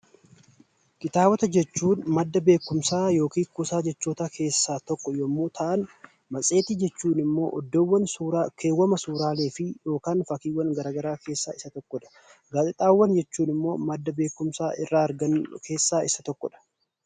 Kitaabota jechuun madda beekumsaa yookiin kuusaa jechootaa keessaa tokko yommuu ta'an, matseetii jechuun ammoo iddoowwan keewwama suuraalee fi fakkiiwwan gara garaa keessaa isa tokkodha. Gaazexaawwan jechuun immoo madda beekumsa irraa argannu keessaa isa tokkodha.